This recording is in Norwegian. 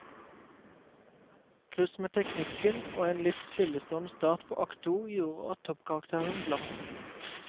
Kluss med teknikken og en litt stillestående start på akt to, gjorde at toppkarakteren glapp.